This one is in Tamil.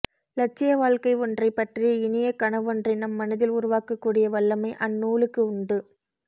இலட்சியவாழ்க்கை ஒன்றைப்பற்றிய இனிய கனவொன்றை நம் மனதில் உருவாக்கக்கூடிய வல்லமை அந்நூலுக்கு உண்டு